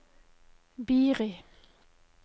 Biri